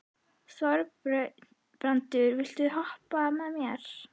Þorbrandur, viltu hoppa með mér?